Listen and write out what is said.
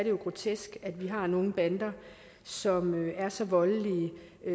jo grotesk at vi har nogle bander som er så voldelige